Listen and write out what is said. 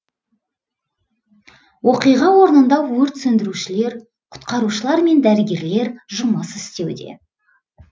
оқиға орнында өрт сөндірушілер құтқарушылар мен дәрігерлер жұмыс істеуде